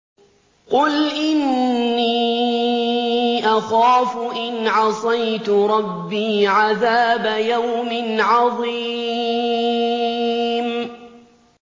قُلْ إِنِّي أَخَافُ إِنْ عَصَيْتُ رَبِّي عَذَابَ يَوْمٍ عَظِيمٍ